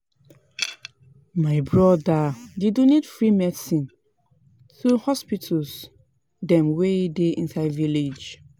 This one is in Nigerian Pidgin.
My broda dey donate free medicine to hospital dem wey dey inside village.